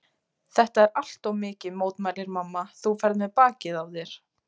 Þetta er allt of mikið, mótmælir mamma, þú ferð með bakið á þér.